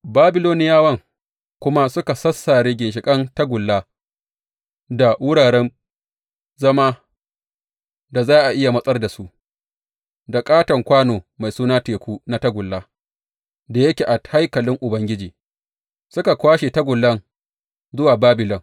Babiloniyawan kuma suka sassare ginshiƙan tagulla, da wuraren zama da za a iya matsar da su, da ƙaton kwano mai suna Teku na tagulla da yake a haikalin Ubangiji, suka kwashe tagullan zuwa Babilon.